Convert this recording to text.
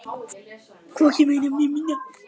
Hvorki meira né minna